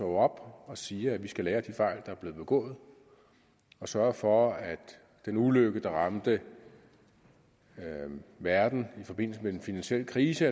op og siger at vi skal lære af de fejl der er blevet begået og sørge for at den ulykke der ramte verden i forbindelse med den finansielle krise